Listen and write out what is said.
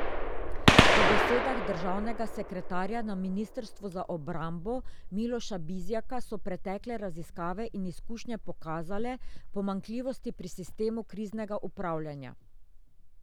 Po besedah državnega sekretarja na ministrstvu za obrambo Miloša Bizjaka so pretekle raziskave in izkušnje pokazale pomanjkljivosti pri sistemu kriznega upravljanja.